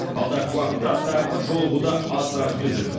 алдағы уақытта тағы бір жолығуды асыға күтіп жүрмін